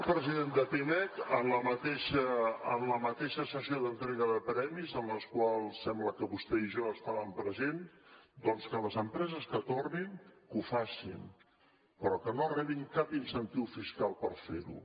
el president de pimec en la mateixa sessió d’entrega de premis en les quals sembla que vostè i jo estàvem presents doncs que les empreses que ho tornin que ho facin però que no rebin cap incentiu fiscal per fer ho